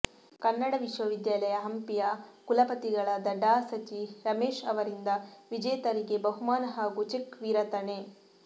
ಕನ್ನಡ ವಿಶ್ವವಿದ್ಯಾಲಯ ಹಂಪಿಯ ಕುಲಪತಿಗಳಾದ ಡಾ ಸ ಚಿ ರಮೇಶ್ ಅವರಿಂದ ವಿಜೇತರಿಗೆ ಬಹುಮಾನ ಹಾಗೂ ಚೆಕ್ ವಿರತಣೆ